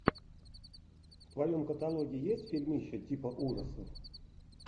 в твоем каталоге есть фильмище типа ужасов